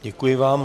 Děkuji vám.